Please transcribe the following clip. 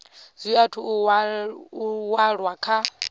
zwi athu u walwa kha